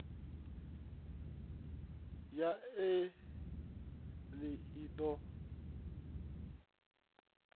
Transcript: ya e filing i ḓo